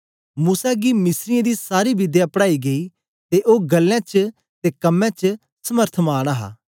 ते मूसा गी मिस्रीयें दी सारी विध्या पढ़ाई गेई ते ओ ग्ल्लें च ते कम्में च समर्थमान हा